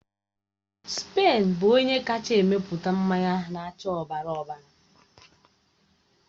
Spen bụ onye kacha emepụta mmanya na-acha ọbara ọbara.